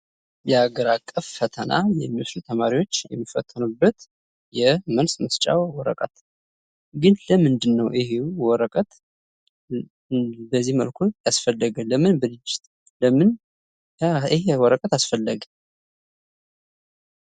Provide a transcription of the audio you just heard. የሀገር አቀፍ ፈተና የሚወስዱ ተማሪዎች የሚፈተኑበት የመልስ መስጫ ወረቀት ግን ለምንድን ነው ይህ ወረቀት በዚህ መልኩ ያስፈለገ? ለምን ይሄ ወረቀት አስፈለገ?